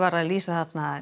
að líta á